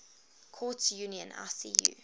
courts union icu